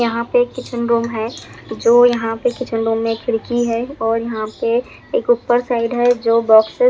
यहाँ पे एक किचन रूम है जो यहाँ पे किचन रूम में एक खिड़की है और यहाँ पे एक ऊपर साइड है जो बॉक्सेस --